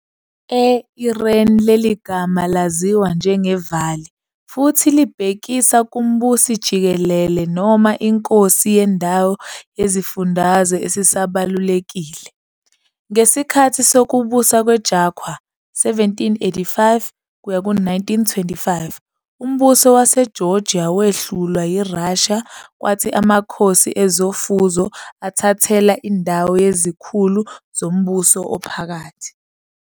E-Iran leli gama laziwa njenge-Vāli futhi libhekisa kumbusi-jikelele noma inkosi yendawo yesifundazwe esibalulekile. Ngesikhathi sokubusa kweQajar 1785-1925 umbuso waseGeorgia wehlulwa yiRussia kwathi amakhosi ezofuzo athathelwa indawo yizikhulu zombuso ophakathi.